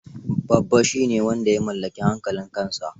Babba shi ne wanda ya mallaki hankalin kansa.